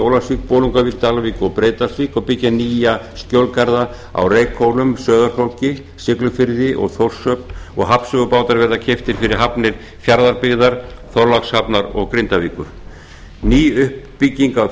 í ólafsvík bolungarvík dalvík og breiðdalsvík og byggja nýja skjólgarða á reykhólum sauðárkróki siglufirði og þórshöfn og hafnsögubátar verða keyptir fyrir hafnir fjarðabyggðar þorlákshafnar og grindavíkur ný